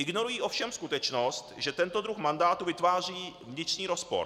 Ignorují ovšem skutečnost, že tento druh mandátu vytváří vnitřní rozpor.